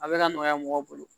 A bɛ ka nɔgɔya mɔgɔw bolo